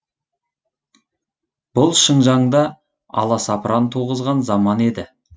бұл шыңжаңда аласапыран туғызған заман еді